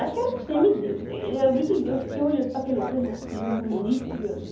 Acho que era um semideus, ele era muito lindo, eu fiquei olhando para aquele homem e falei, que homem bonito, meu Deus.